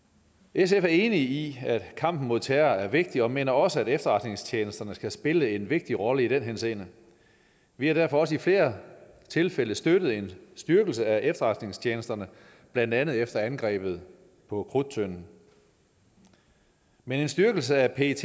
sf er enig i at kampen mod terror er vigtig og mener også at efterretningstjenesterne skal spille en vigtig rolle i den henseende vi har derfor også i flere tilfælde støttet en styrkelse af efterretningstjenesterne blandt andet efter angrebet på krudttønden men en styrkelse af pet